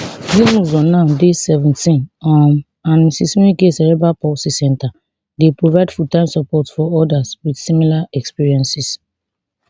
zimuzo now dey seventeen um and ms nweke cerebral palsy centre dey provide fulltime support for odas wit similar experiences